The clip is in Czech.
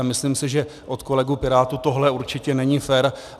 A myslím si, že od kolegů pirátů tohle určitě není fér.